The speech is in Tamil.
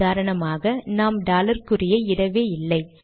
உதாரணமாக நாம் டாலர் குறியை இடவே இல்லை